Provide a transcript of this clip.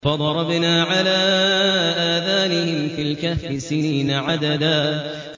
فَضَرَبْنَا عَلَىٰ آذَانِهِمْ فِي الْكَهْفِ سِنِينَ عَدَدًا